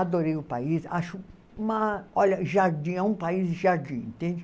Adorei o país, acho uma... Olha, jardim, é um país de jardim, entende?